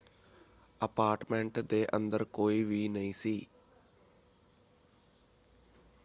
Apartment ਦੇ ਅੰਦਰ ਕੋਈ ਵੀ ਨਹੀਂ ਸੀ।